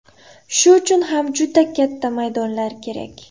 Shu uchun ham juda katta maydonlar kerak.